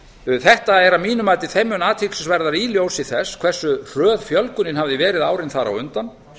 hræðslusöng þetta er að mínu mati þeim mun athyglisverðara í ljósi þess hversu hröð fjölgunin hafði verið árin þar á undan